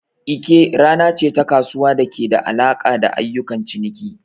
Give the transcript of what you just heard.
Eke rana ce ta kasuwa da ke da alaƙa da ayyukan ciniki.